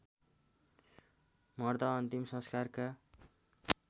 मर्दा अन्तिम संस्कारका